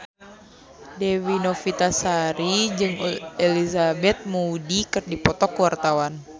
Dewi Novitasari jeung Elizabeth Moody keur dipoto ku wartawan